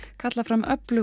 kalla fram öflug